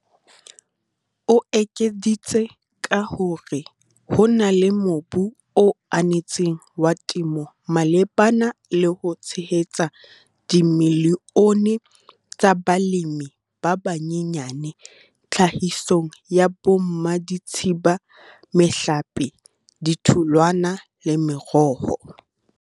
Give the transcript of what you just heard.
O ekeditse ka ho re ho na le mobu o anetseng wa temo malebana le ho tshehetsa dimilione tsa balemi ba banyenyane tlhahisong ya bommaditshibana, mehlape, ditholwana le meroho.